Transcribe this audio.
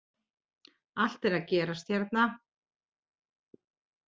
Allt er að gerast hérna!!